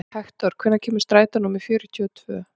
Hektor, hvenær kemur strætó númer fjörutíu og tvö?